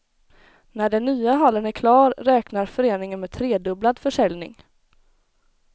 När den nya hallen är klar räknar föreningen med tredubblad försäljning.